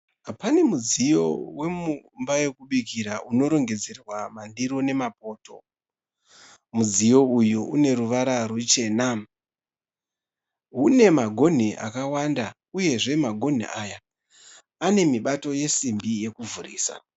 Pane mudziyo wemumba yekubikira unorongedzerwa mandiro nemapoto. Mudziyo uyu une ruvara ruchena. Une magonhi akawanda. Uyezve magonhi aya ane mibato yesimbi yekuvhurisa.